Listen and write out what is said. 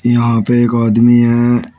यहां पे एक आदमी है।